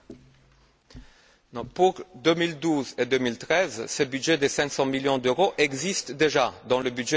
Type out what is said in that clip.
Pour 2012 et 2013, ce budget de 500 millions d'euros existe déjà dans le budget de la Commission.